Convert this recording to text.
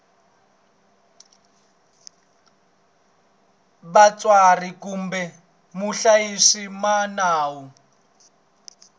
vatswari kumbe muhlayisi wa nawu